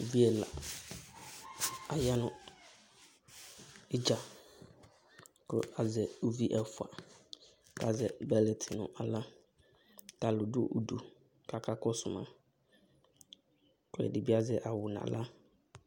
Uvi ɛla aya nʋ ɩdza, kʋ azɛ uvi ɛfʋa, kʋ azɛ bɛlɛtɩ nʋ aɣla, kʋ alʋ dʋ udu, kʋ aka kɔsʋ ma, kʋ ɛdɩ bɩ azɛ aɣʋ nʋ aɣla